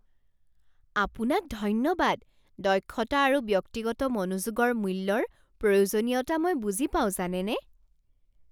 আপোনাক ধন্যবাদ! দক্ষতা আৰু ব্যক্তিগত মনোযোগৰ মূল্যৰ প্ৰয়োজনীয়তা মই বুজি পাওঁ জানেনে।